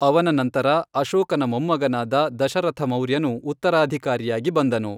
ಅವನ ನಂತರ ಅಶೋಕನ ಮೊಮ್ಮಗನಾದ ದಶರಥ ಮೌರ್ಯನು ಉತ್ತರಾಧಿಕಾರಿಯಾಗಿ ಬಂದನು.